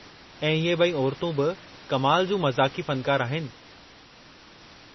ऐं इहे ब॒ई औरतूं बि कमाल जूं मज़ाक़ी फ़नकार आहिनि।